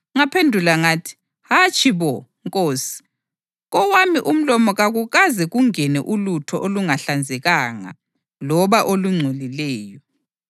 Ngaphendula ngathi, ‘Hatshi bo, Nkosi! Kowami umlomo kakukaze kungene ulutho olungahlanzekanga loba olungcolileyo.’